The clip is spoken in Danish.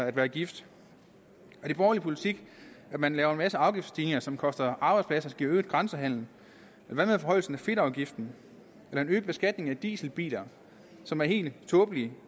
at være gift er det borgerlig politik at man laver en masse afgiftsstigninger som koster arbejdspladser og giver øget grænsehandel og hvad med forhøjelsen af fedtafgiften eller den øgede beskatning af dieselbiler som er helt tåbelig